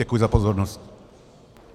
Děkuji za pozornost.